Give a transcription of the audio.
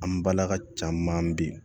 An balaka caman bi